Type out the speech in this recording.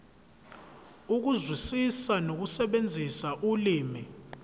ukuzwisisa nokusebenzisa ulimi